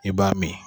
I b'a min